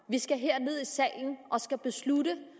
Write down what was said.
vi skal herned i salen og beslutte